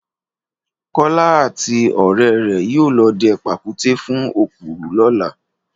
Kọ́lá àti ọ̀rẹ́ rẹ̀ yóò lọ dẹ pàkúté fún òkúrù lọ́la